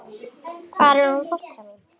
Hvar er hún fóstra mín?